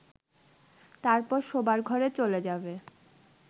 তারপর শোবার ঘরে চলে যাবে